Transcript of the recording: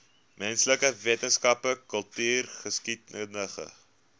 menslike wetenskappe kultureelgeskiedkundige